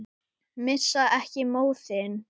Missa ekki móðinn.